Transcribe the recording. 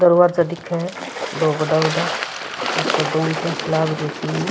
दरवाजा दिखे है दो बड़ा बड़ा ऊपर गुमटियां सी लाग रही तीन।